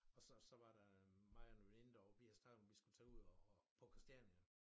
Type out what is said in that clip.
Og så så var der mig og en veninde derovre vi havde snakket om vi skulle tage ud og og på Christiania